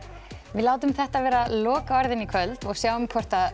við látum þetta vera lokaorðin í kvöld og sjáum hvort